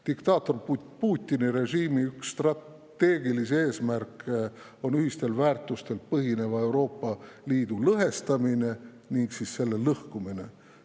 Diktaator Putini režiimi üks strateegilisi eesmärke on ühistel väärtustel põhineva Euroopa Liidu lõhestamine ning siis selle lõhkumine.